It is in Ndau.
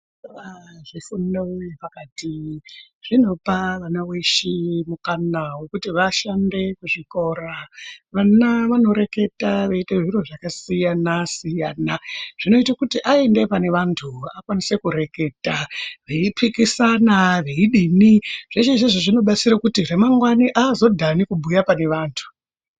Zvifundo zvepakati zvinopa vana weshe mukana wekuti vashande kuzvikora, vana vanoreketa veyita zviri zvakasiyana siyana zvinoita kuti aende panevantu akwanise kureketa beyipikisane beyidini zveshe izvozvo zvinodetsera kuti ramangwana haazodani kubuya panevantu.